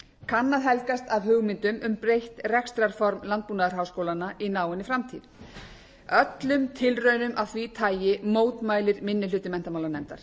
kann að helgast af hugmyndum um breytt rekstrarform landbúnaðarháskólanna í náinni framtíð öllum tilraunum af því tagi mótmælir minni hluti menntamálanefndar